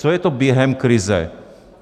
Co je to během krize?